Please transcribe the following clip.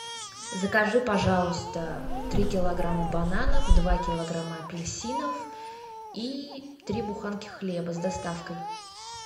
закажи пожалуйста три килограмма бананов два килограмма апельсинов и три буханки хлеба с доставкой